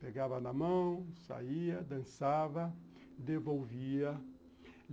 Pegava na mão, saía, dançava, devolvia.